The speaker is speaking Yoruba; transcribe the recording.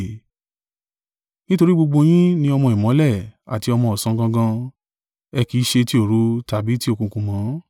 Nítorí gbogbo yín ni ọmọ ìmọ́lẹ̀ àti ọmọ ọ̀sán gangan. Ẹ kì í ṣe tí òru tàbí tí òkùnkùn mọ́.